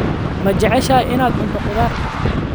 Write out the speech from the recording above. Ma jeceshahay inaad cunto khudaar?